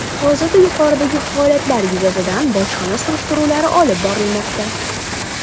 Hozirda yuqoridagi holatlar yuzasidan bojxona surishtiruvlari olib borilmoqda.